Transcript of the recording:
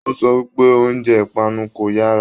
O sọ wípé oúnjẹ ipanu kò yara.